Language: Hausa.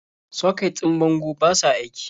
Soket ɗin bangon ba sa aiki.